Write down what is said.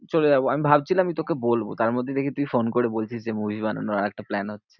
চলে যাবো আমি ভাবছিলাম যে তোকে বলবো। তারমধ্যে দেখি তুই ফোন করে বলছিস যে, movie বানানোর আরেকটা plan হচ্ছে।